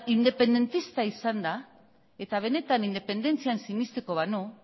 independentista izanda eta benetan independentzian sinestuko banu